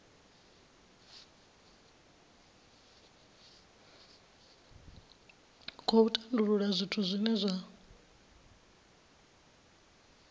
khou tandulula zwithu zwine zwa